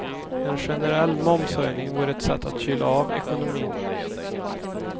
En generell momshöjning vore ett sätt att kyla av ekonomin.